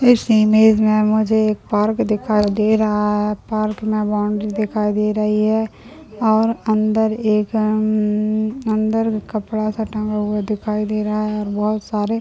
इस इमेज में मुझे एक पार्क दिखाई दे रहा है पार्क में बॉउंड्री दिखाई दे रही है और अन्दर एक अम्म्ममममम अन्दर कपड़ा सा टांगा हुआ दिखाई दे रहा है बहुत सारे--